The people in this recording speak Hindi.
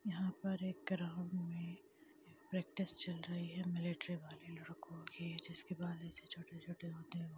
यहाँ पर एक ग्राउंड में प्रैक्टिस चल रही है मिलिट्री वाले लड़को की जिसकी बाल ऐसे छोटे-छोटे होते है।